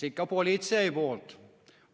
Eks ikka politsei poolt.